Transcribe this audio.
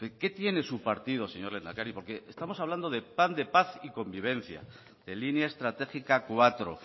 porque estamos hablando del plan de paz y convivencia de línea estratégica cuatro